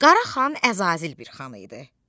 Qaraxan Əzazil bir xan idi.